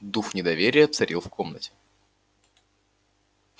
дух недоверия царил в комнате